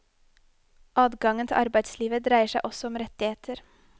Adgangen til arbeidslivet dreier seg også om rettigheter.